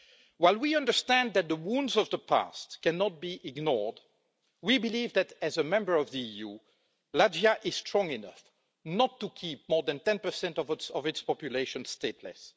While we understand that the wounds of the past cannot be ignored, we believe that, as a member of the EU, Latvia is strong enough not to keep more than 10 of its population stateless.